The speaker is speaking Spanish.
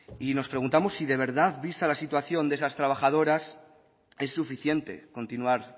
y nos preguntamos si de verdad vista la situación de esas trabajadoras es suficiente continuar